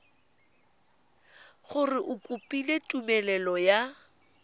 gore o kopile tumelelo ya